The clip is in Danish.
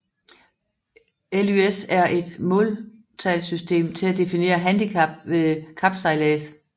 LYS er et måltalssystem til at definere handicap ved kapsejlads